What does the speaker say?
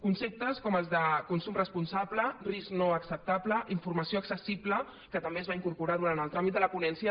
conceptes com els de consum responsable risc no acceptable informació accessible que també es va incorporar durant el tràmit de la ponència